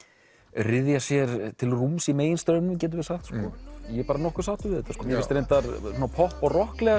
ryðja sér til rúms í meginstraumnum getum við sagt ég er nokkuð sáttur við þetta mér finnst reyndar popp og